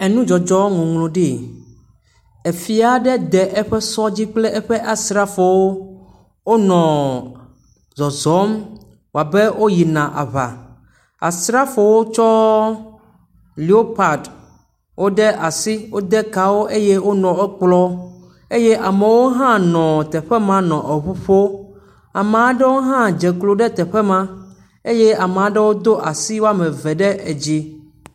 Enudzɔdzɔ ŋɔŋlɔ ɖi. Efia aɖe de eƒe sɔ dzi kple eƒe asrafowo. Wonɔ zɔzɔm woa be woyina aŋa. Asrafowo wotsɔ lewopadi woɖe asi wode kaa wo eye wonɔ wokplɔ. Eye amewo hã nɔ teƒe ma nɔ eŋu ƒoo. Ame aɖewo hã dze klo ɖe teƒe ma eye ame aɖewo hã do asi waome eve ɖe dzi.